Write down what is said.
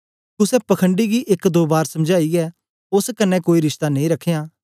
कुसे पखण्डी गी एक दो बार समझाईयै ओस कन्ने कोई रिश्ता नेई रखयां